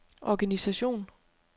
organisation